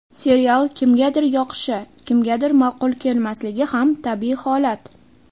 Serial kimgadir yoqishi, kimgadir ma’qul kelmasligi ham tabiiy holat.